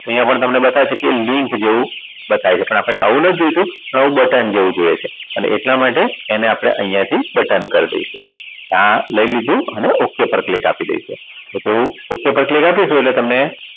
અહીંયા પણ તમને બતાવે છે કે link જેવું બતાવે છે પણ આપણને એવું નથી જોઈતું આવું બટન જેવું જોઈએ છે અને એટલા માટે આપણે અહીંયા થી બટન કરી દઈશું લઇ લીધું અને ok પર click આપી દઈશું જેવું ok પર click આપીશું એટલે તમને